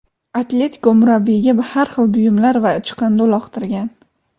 "Atletiko" murabbiyiga har xil buyumlar va chiqindi uloqtirgan.